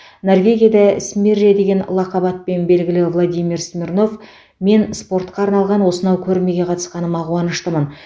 норвегияда смирре деген лақап атпен белгілі владимир смирнов мен спортқа арналған осынау көрмеге қатысқаныма қуаныштымын